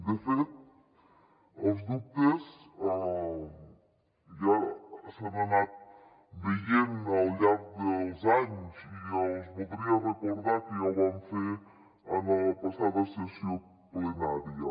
de fet els dubtes ja s’han anat veient al llarg dels anys i els voldria recordar que ja ho vam fer en la passada sessió plenària